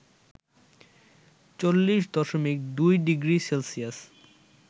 ৪০ দশমিক ২ degree Celsius